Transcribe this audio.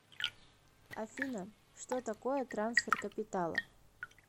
афина что такое трансфер капитала